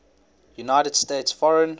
united states foreign